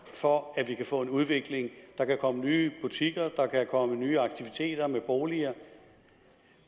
for at vi kan få en udvikling at der kan komme nye butikker at der kan komme nye aktiviteter med boliger